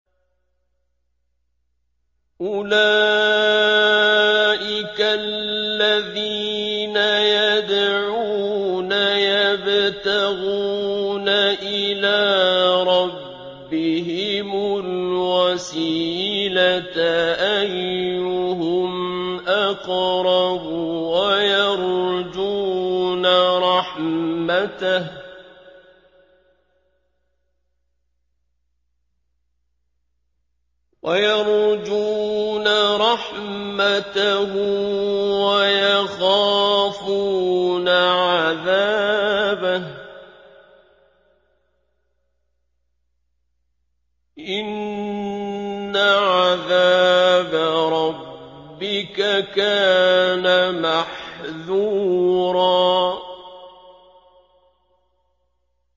أُولَٰئِكَ الَّذِينَ يَدْعُونَ يَبْتَغُونَ إِلَىٰ رَبِّهِمُ الْوَسِيلَةَ أَيُّهُمْ أَقْرَبُ وَيَرْجُونَ رَحْمَتَهُ وَيَخَافُونَ عَذَابَهُ ۚ إِنَّ عَذَابَ رَبِّكَ كَانَ مَحْذُورًا